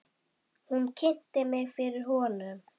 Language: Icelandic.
Hún kynnti mig fyrir honum.